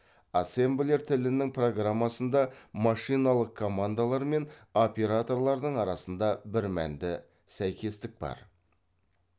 ассемблер тілінің программасында машиналық командалар мен операторлардың арасында бірмәнді сәйкестік бар